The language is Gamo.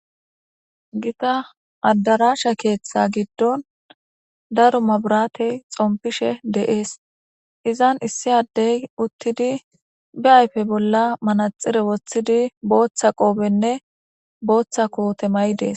Gita addaraasha keeththa giddon daro maburatey xompishe de'ees izan issi addey uttidi bi ayfe bolla manaxire woththidi booththa qoobenne booththa koote mayi dees